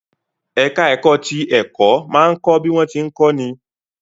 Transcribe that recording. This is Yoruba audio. Ẹ̀ká ẹ̀kọ́ ti ẹ̀kọ́ máa ń kọ́ bí wọ́n tí ń kọ́ ni